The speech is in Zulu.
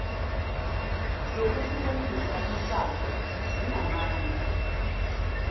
zokwehlukanisa umshado zinamandla